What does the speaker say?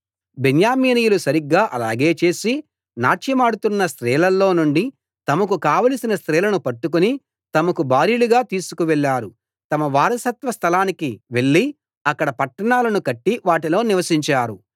బెన్యామీనీయులు సరిగ్గా అలాగే చేసి నాట్యమాడుతున్న స్త్రీలలో నుండి తమకు కావలసిన స్త్రీలను పట్టుకుని తమకు భార్యలుగా తీసుకు వెళ్ళారు తమ వారసత్వ స్థలానికి వెళ్ళి అక్కడ పట్టణాలను కట్టి వాటిలో నివసించారు